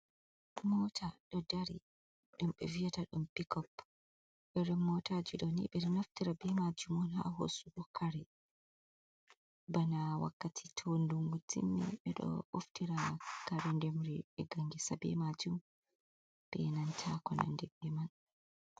Mota ɗo dari ɗum ɓe viyata ɗum pikop, irin motaji ɗo ni ɓe ɗo naftira be majum on ha hosugo kare bana wakkati to dungu timmi, ɓe ɗo ɓoftira kare demri dige ngesa be majum, benanta ko nandi be man.